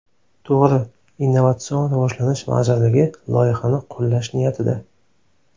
To‘g‘ri, Innnovatsion rivojlanish vazirligi loyihani qo‘llash niyatida.